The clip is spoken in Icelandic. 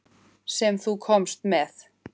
Sem þú komst með.